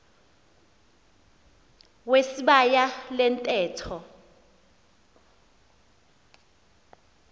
wesibaya le ntetho